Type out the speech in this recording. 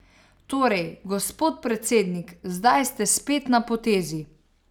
Torej, gospod predsednik, zdaj ste spet na potezi.